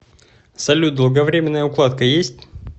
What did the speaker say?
салют долговремененная укладка есть